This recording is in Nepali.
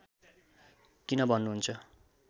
किन भन्नुहुन्छ